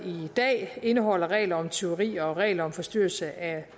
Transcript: dag indeholder regler om tyveri og regler om forstyrrelse af